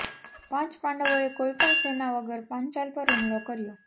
પાંચ પાંડવોએ કોઈપણ સેના વગર પાંચાલ પર હુમલો કર્યો